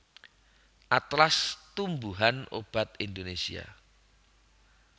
Atlas Tumbuhan Obat Indonesia